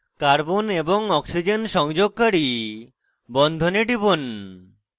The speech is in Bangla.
carbon এবং oxygen সংযোগকারী বন্ধনে টিপুন